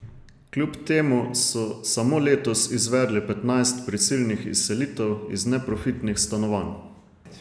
Kljub temu so samo letos izvedli petnajst prisilnih izselitev iz neprofitnih stanovanj.